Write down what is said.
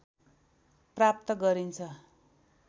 प्राप्त गरिन्छ